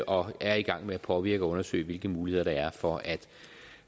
og er i gang med at påvirke og undersøge hvilke muligheder der er for